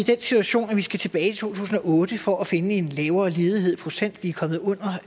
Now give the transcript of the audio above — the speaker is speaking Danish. situation at vi skal tilbage tusind og otte for at finde en lavere ledighed i procent vi